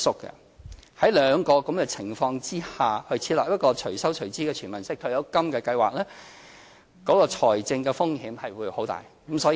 在這兩個情況下，設立"隨收隨支"的"全民式"退休金計劃，財政風險會很大。